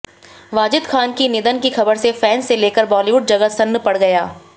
वाजिद खान की निधन की खबर से फैंस से लेकर बॉलीवुड जगत सन्न पड़ गया